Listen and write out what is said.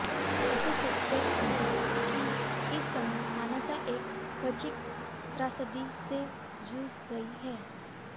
कटु सत्य है कि इस समय मानवता एक वैश्विक त्रासदी से जूझ रही है